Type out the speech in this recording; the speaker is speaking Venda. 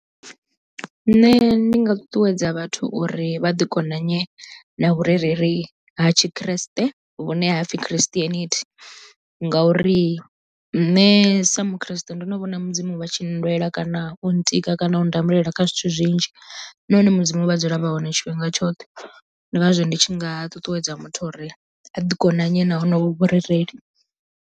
Nṋe ndi nga ṱuṱuwedza vhathu uri vha ḓi konanye na vhurereli ha tshikriste vhune hapfi christianity ngauri nṋe sa mu khreste ndo no vhona mudzimu vha tshi nndwela kana u ntikedza kana u ndamulela kha zwithu zwinzhi na hone mudzimu vha dzula vha hone tshifhinga tshoṱhe ndi ngazwo ndi tshi nga ṱuṱuwedza muthu uri a ḓi konanye na honovho vhurereli.